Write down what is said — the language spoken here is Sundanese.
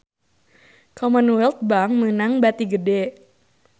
Commonwealth Bank meunang bati gede